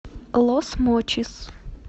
лос мочис